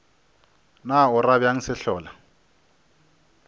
na o ra bjang sehlola